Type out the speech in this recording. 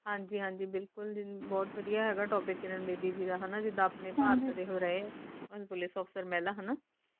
ਹਾਂਜੀ ਹਾਂਜੀ ਬਿਲਕੁਲ ਬਹੁਤ ਵਦੀਆ ਹੈਗਾ Topic ਕਿਰਨ ਬੇਦੀ ਜੀ ਹਣਾ ਜਿਦਾ ਆਪਣੇ ਭਾਰਤ ਦੇ ਉਹ ਰਹੇ Police Officer ਮਹਿਲਾ ਹਣਾ